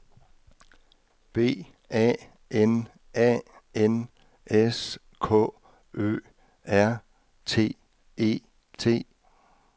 B A N A N S K Ø R T E T